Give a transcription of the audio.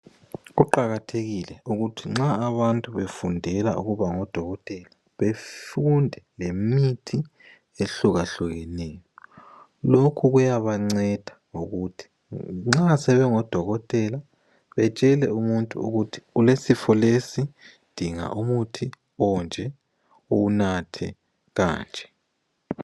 Kuqakathekile ukuthi nxa abantu befundela ukuba ngodokotela befunde ngemithi ehlukahlukeneyo. Lokhu kuyabanceda ukuthi nxa sebengodokotela betshele umuntu ukuthi ulesifo lesi dinga umuthi onje uwunathe kanje.